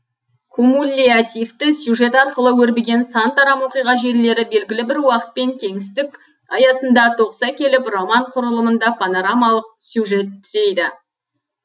кумуллятивті сюжет арқылы өрбіген сан тарам оқиға желілері белгілі бір уақыт пен кеңістік аясында тоғыса келіп роман құрылымында понарамалық сюжет түзейді